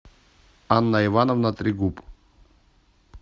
анна ивановна трегуб